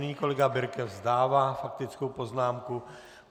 Nyní kolega Birke vzdává faktickou poznámku.